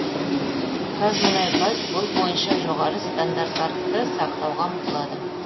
қазмұнайгаз бұл бойынша жоғары стандарттарды сақтауға ұмтылады